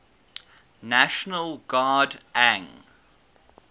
national guard ang